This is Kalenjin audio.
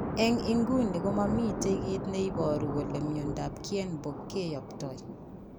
En inguni komomiten kiit neboru kole myondab Kienbock kiy0ptoi